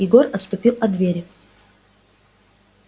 егор отступил от двери